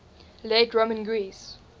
late roman greece